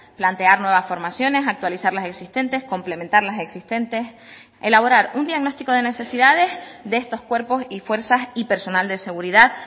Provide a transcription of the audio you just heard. plantear nuevas formaciones actualizar las existentes complementar las existentes elaborar un diagnóstico de necesidades de estos cuerpos y fuerzas y personal de seguridad